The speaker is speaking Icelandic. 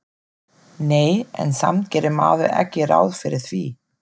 Nei, en samt gerir maður ekki ráð fyrir því